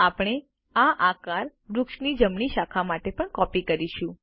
આપણે આ આકાર વૃક્ષની જમણી શાખામાં પણ કોપી કરીશું